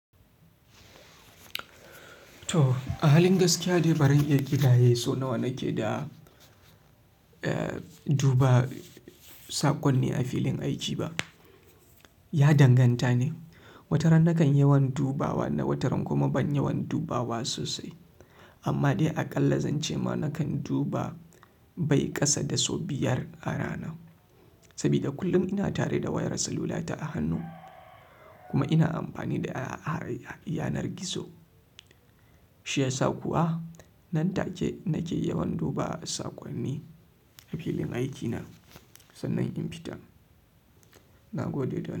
To, a halin gaskiya dai baran iya ƙidaye so nawa nake da, eh, duba saƙonni a filin aiki ba. Ya danganta ne. Wataran nakan yawan dubawa na wataran kuma ban yawan dubawa sosai. Amma dai aƙalla zan ce ma nakan duba bai ƙasa da so biyar a rana. Saboda kullum ina tare da wayar salula ta a hannu kuma ina amfani da yanar gizo. Shi yasa kuwa nan take nake yawan duba saƙonni a filin aiki na sannan in fita. Na gode da.